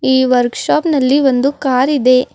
ಈ workshop ನಲ್ಲಿ ಒಂದು ಕಾರಿದೆ.